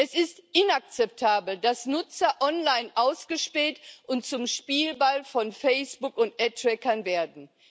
Es ist inakzeptabel, dass Nutzer online ausgespäht und zum Spielball von Facebook und Ad Trackern werden.